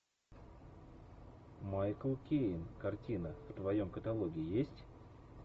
майкл кейн картина в твоем каталоге есть